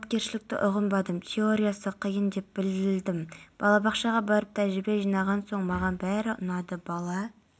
күндіз алматы шығыс қазақстан облыстарында қарағанды облысының кей жерлерінде қатты ыстық болады күндіз қызылорда облысында оңтүстік